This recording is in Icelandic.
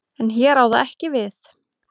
En hér á það ekki við.